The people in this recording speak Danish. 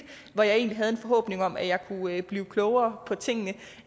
hvor jeg egentlig havde en forhåbning om at jeg kunne blive klogere på tingene